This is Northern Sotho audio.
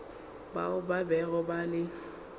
bao ba bego ba le